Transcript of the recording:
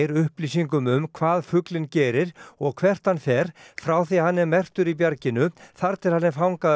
upplýsingum um hvað fuglinn gerir og hvert hann fer frá því hann er merktur í bjarginu þar til hann er fangaður